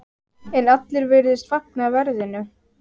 En allir virðast fagna verðinu.